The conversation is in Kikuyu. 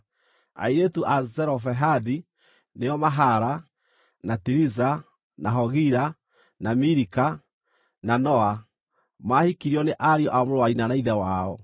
Airĩtu a Zelofehadi, nĩo Mahala, na Tiriza, na Hogila, na Milika, na Noa, maahikirio nĩ ariũ a mũrũ wa nyina na ithe wao.